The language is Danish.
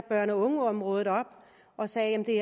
børn og unge området op og sagde at det